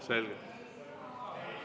Selge.